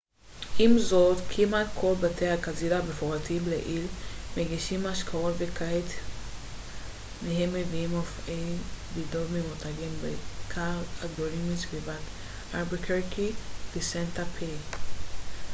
עם זאת כמעט כל בתי הקזינו המפורטים לעיל מגישים משקאות וכמה מהם מביאים מופעי בידור ממותגים בעיקר הגדולים מסביבת אלבקרקי וסנטה פה